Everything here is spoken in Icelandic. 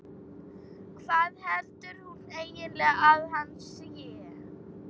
Hvað heldur hún eiginlega að hann sé?